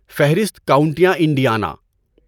فہرست کاونٹیاں انڈیانا